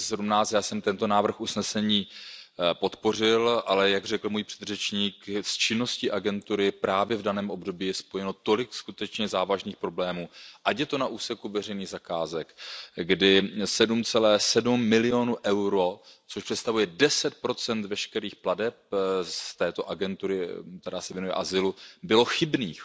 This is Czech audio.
2017. Já jsem tento návrh usnesení podpořil, ale jak řekl můj předřečník, jen s činností agentury právě v daném období je spojeno tolik skutečně závažných problémů, ať je to na úseku veřejných zakázek, kdy 7,7 milionů EUR, což představuje 10 veškerých plateb této agentury, která se věnuje azylu, bylo chybných.